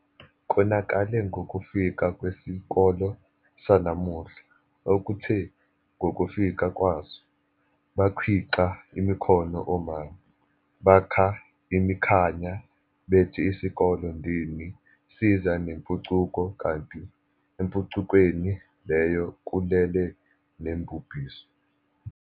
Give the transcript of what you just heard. Konakale ngokufika kwesikole sanamuhla, okuthe ngokufika kwaso, bakhwixa imikhono omame, bakha imikhanya bethi isikole ndini siza nempucuko kanti empucukweni leyo kulele nembubhiso.